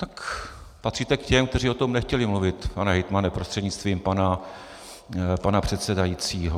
Tak patříte k těm, kteří o tom nechtěli mluvit, pane hejtmane prostřednictvím pana předsedajícího.